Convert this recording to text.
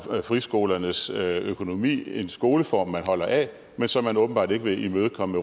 friskolernes økonomi en skoleform man holder af men som man åbenbart ikke vil imødekomme